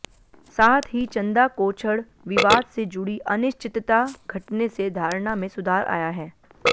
साथ ही चंदा कोछड़ विवाद से जुड़ी अनिश्चितता घटने से धारणा में सुधार आया है